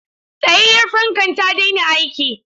Tsayayyar fankan ta daina aiki.